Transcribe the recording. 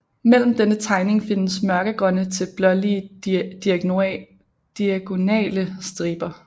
Mellem denne tegning findes mørkegrønne til blålige diagonale striber